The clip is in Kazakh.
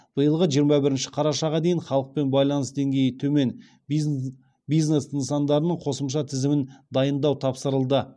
биылғы жиырма бірінші қарашаға дейін халықпен байланыс деңгейі төмен бизнес нысандарының қосымша тізімін дайындау тапсырылды